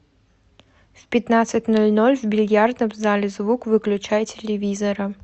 в пятнадцать ноль ноль в бильярдном зале звук выключай телевизора